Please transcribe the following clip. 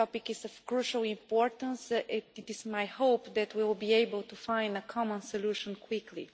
The topic is of crucial importance, and it is my hope that we will be able to find a common solution quickly.